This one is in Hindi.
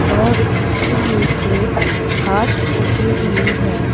और इसके नीचे खास उगी हुई है।